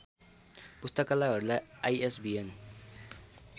पुस्तकालयहरूलाई ISBN